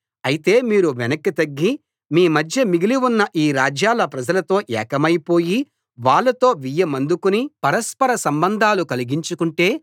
అయితే మీరు వెనక్కి తగ్గి మీమధ్య మిగిలి ఉన్న ఈ రాజ్యాల ప్రజలతో ఏకమైపోయి వాళ్ళతో వియ్యమందుకుని పరస్పర సంబంధాలు కలిగించుకుంటే